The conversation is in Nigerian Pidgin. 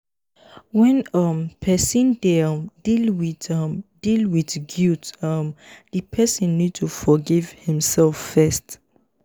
when um person dey um deal with um deal with guilt um di person need to forgive im self first